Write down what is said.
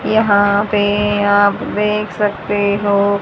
यहां पे आप देख सकते हो--